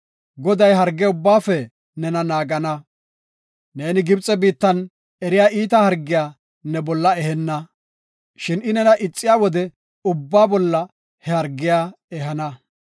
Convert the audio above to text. Goday harge ubbaafe nena naagana. Neeni Gibxe biittan eriya iita hargiya ne bolla ehenna, shin I nena ixiya ubbaa bolla he hargiya ehana.